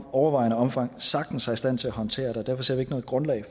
overvejende omfang sagtens er i stand til at håndtere det derfor ser vi ikke noget grundlag